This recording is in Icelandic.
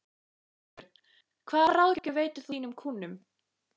Þorbjörn: Hvaða ráðgjöf veitir þú þínum kúnnum?